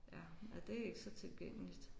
Ja ja det er ikke så tilgængeligt